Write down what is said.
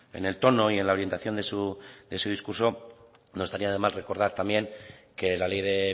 en el tono y en la orientación de su discurso no estaría de más recordar también que la ley de